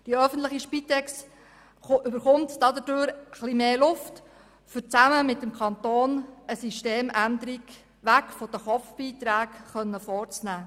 Die öffentliche Spitex erhält dadurch etwas mehr Luft, um zusammen mit dem Kanton eine Systemänderung weg von den Pro-Kopf-Beiträgen vorzunehmen.